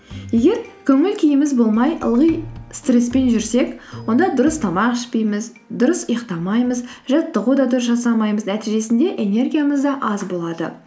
егер көңіл күйіміз болмай ылғи стресспен жүрсек онда дұрыс тамақ ішпейміз дұрыс ұйықтамаймыз жаттығу да дұрыс жасамаймыз нәтижесінде энергиямыз да аз болады